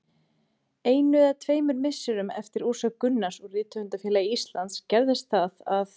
Einu eða tveimur misserum eftir úrsögn Gunnars úr Rithöfundafélagi Íslands gerðist það að